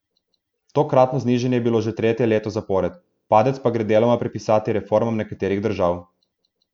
Tokratno znižanje je bilo že tretje leto zapored, padec pa gre deloma pripisati reformam nekaterih držav.